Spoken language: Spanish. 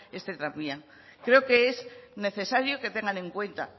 este tranvía creo que es necesario que tengan en cuenta